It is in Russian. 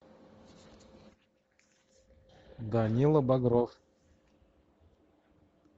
данила багров